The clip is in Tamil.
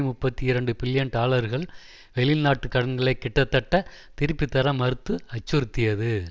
முப்பத்தி இரண்டு பில்லியன் டாலர்கள் வெளிநாட்டு கடன்களை கிட்டத் தட்டத் திருப்பித்தர மறுத்து அச்சுறுத்தியது